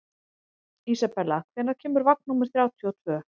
Isabella, hvenær kemur vagn númer þrjátíu og tvö?